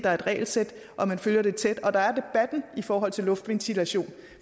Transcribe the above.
er et regelsæt at man følger det tæt og at der er debatten i forhold til luftventilation